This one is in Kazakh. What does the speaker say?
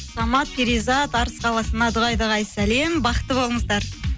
самат перизат арыс қаласына дұғай дұғай сәлем бақытты болыңыздар